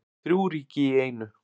Þrjú ríki í einu